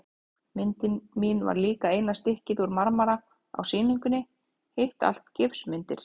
Myndin mín var líka eina stykkið úr marmara á sýningunni, hitt allt gifsmyndir.